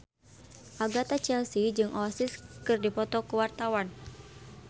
Agatha Chelsea jeung Oasis keur dipoto ku wartawan